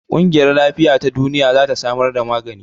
ƙungiyar Lafiya ta Duniya za ta samar da magani.